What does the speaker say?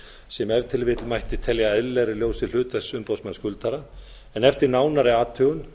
sem ef til vill mætti telja eðlilegra í ljósi hlutverks umboðsmanns skuldara en eftir nánari athugun